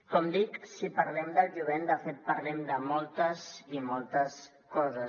com dic si parlem del jovent de fet parlem de moltes i moltes coses